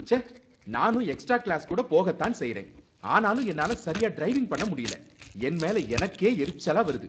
ச்ச! நானும் extra class கூட போக தான் செய்றேன், ஆனாலும் என்னால சரியா டிரைவிங் பண்ண முடியல, என் மேல எனக்கே எரிச்சலா வருது